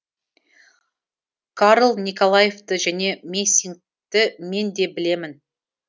карл николаевты және мессингті мен де білемін